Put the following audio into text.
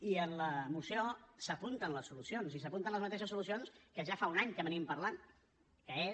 i en la moció s’apunten les solucions i s’apunten les mateixes solucions que ja fa un any que parlem que és